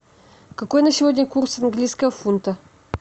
какой на сегодня курс английского фунта